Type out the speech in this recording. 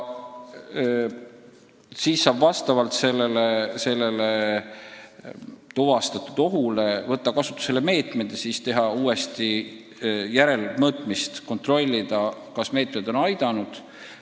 Kui see oht on tuvastatud, siis saab võtta kasutusele meetmed ja hiljem teha järelmõõtmise, et kontrollida, kas meetmed on aidanud.